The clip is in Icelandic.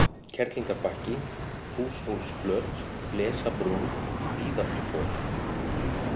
Kerlingarbakki, Húshólsflöt, Blesabrún, Víðáttufor